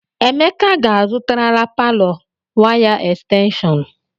Emeka ga-azụtarala palọ waya estenshọn.